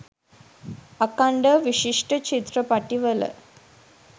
අඛන්ඩව විශිෂ්ට චිත්‍රපටිවල